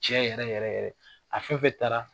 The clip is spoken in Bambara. Cɛ yɛrɛ yɛrɛ yɛrɛ a fɛnfɛn dara.